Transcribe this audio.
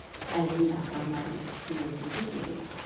Əliylə adamların ikisini yoxlayıb dedi: